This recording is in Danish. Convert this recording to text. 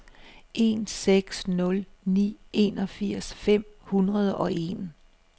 en seks nul ni enogfirs fem hundrede og en